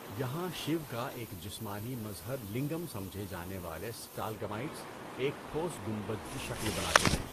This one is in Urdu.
یہاں، شیو کا ایک جسمانی مظہر لنگم سمجھے جانے والے سٹالگمائٹس، ایک ٹھوس گنبد کی شکل بناتے ہے۔